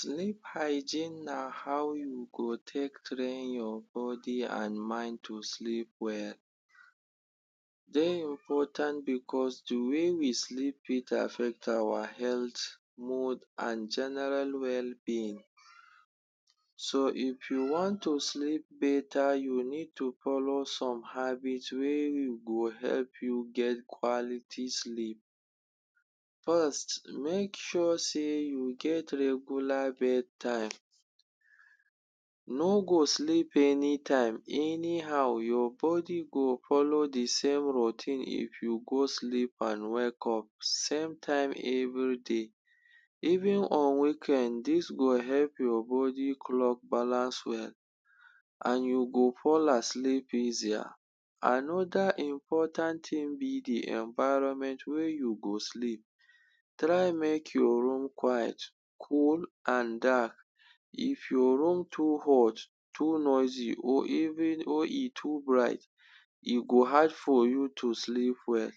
Sleep hygiene na how you go take train your body an mind to sleep well. Dey important becos the way we sleep fit affect awa health, mood, an general wellbeing. So if you want to sleep beta, you need to follow some habit wey e go help you get quality sleep. First, make sure sey you get regular bed time. No go sleep anytime, anyhow. Your body go follow the same routine if you go sleep an wake up same time everyday even on weekend. Dis go help your body clock balance well an you go fall asleep easier. Another important tin be the environment wey you go sleep. Try make your room quiet, cool, an dark. If your room too hot, too noisy, or even or e too bright, e go hard for you to sleep well.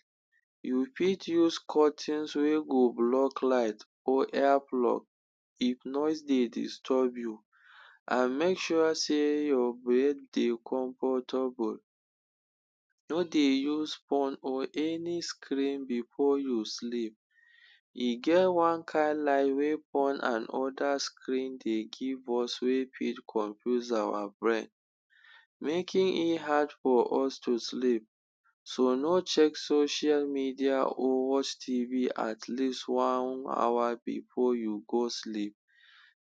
You fit use curtains wey go block light or earplug if noise dey disturb you, an make sure sey your bed dey comfortable. No dey use phone or any screen before you sleep. E get one kain light wey phone an other screen dey give us wey fit confuse awa brain making it hard for us to sleep. So no check social media or watch TV at least one hour before you go sleep.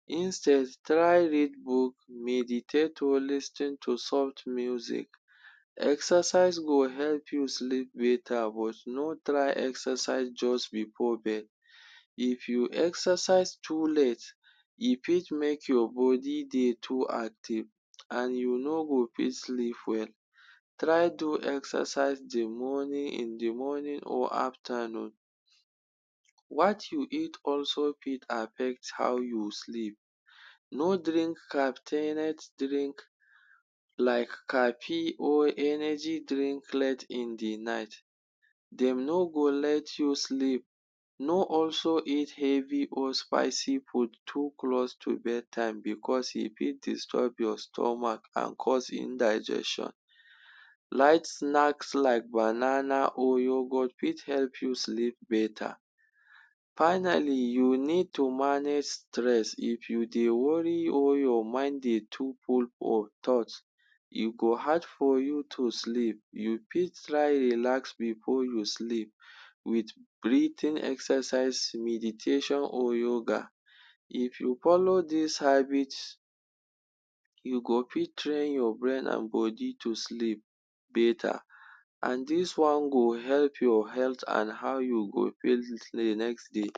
Instead, try read book, meditate or lis ten to soft music. Exercise go help you sleep beta but no try exercise juz before bed. If you exercise too late, e fit make your body dey too active an you no go fit sleep well. Try to exercise the morning in the morning or aftanoon. What you eat also fit affect how you sleep. No drink drink like caffee or energy drink late in the night. Dem no go let you sleep. No also eat heavy or spicy food too close to bedtime becos e fit disturb your stomach an cause indigestion. Light snacks like banana or yoghurt fit help you sleep beta. Finally, you need to manage stress. If you dey worry or your mind dey too full for thought, e go hard for you to sleep. You fit try relax before you sleep with breathing exercise, meditation or yoga. If you follow dis habit, you go fit train your brain an body to sleep beta an dis one go help your health an how you go feel next day.